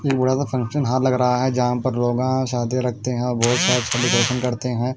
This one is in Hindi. एक बड़ा सा फंक्शन हॉल लग रहा है जहाँ पर लोगां शादी रखते हैं और बहुत सारे सेलिब्रेशन करते हैं।